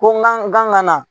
Ko n kan n kan ka na.